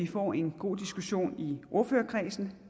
får en god diskussion i ordførerkredsen